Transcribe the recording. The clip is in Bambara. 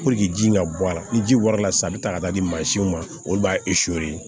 ji in ka bɔ a la ni ji warala sisan a bɛ taa ka taa di mansinw ma olu b'a